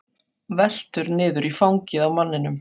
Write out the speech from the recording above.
Veltur niður í fangið á manninum.